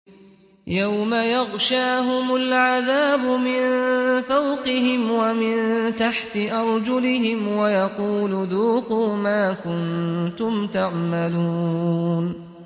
يَوْمَ يَغْشَاهُمُ الْعَذَابُ مِن فَوْقِهِمْ وَمِن تَحْتِ أَرْجُلِهِمْ وَيَقُولُ ذُوقُوا مَا كُنتُمْ تَعْمَلُونَ